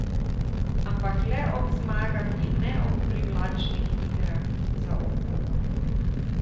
Ampak le ob zmagah in ne ob privlačnih igrah za oko.